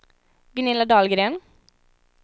Gunilla Dahlgren